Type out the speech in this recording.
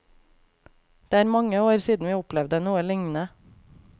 Det er mange år siden vi opplevde noe lignende.